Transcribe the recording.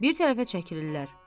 Bir tərəfə çəkilirlər.